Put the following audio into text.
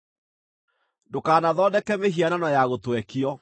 “Ndũkanathondeke mĩhianano ya gũtwekio.